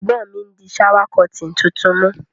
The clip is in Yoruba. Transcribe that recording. Ègbón mi n dí shower curtain tuntun mú